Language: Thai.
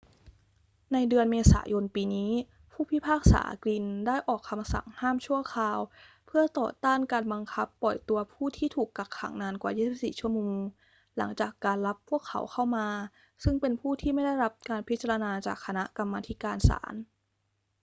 ในเดือนเมษายนปีนี้ ผู้พิพากษากลินน์ได้ออกคำสั่งห้ามชั่วคราวเพื่อต่อต้านการบังคับปล่อยตัวผู้ที่ถูกกักขังนานกว่า 24 ชั่วโมงหลังจากการรับพวกเขาเข้ามาซึ่งเป็นผู้ที่ไม่ได้รับการพิจารณาจากคณะกรรมาธิการศาล